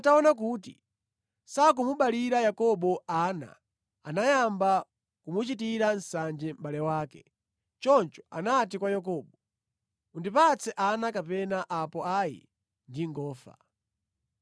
Rakele ataona kuti sakumuberekera Yakobo ana, anayamba kumuchitira nsanje mʼbale wake. Choncho anati kwa Yakobo, “Undipatse ana kapena apo ayi ndingofa!”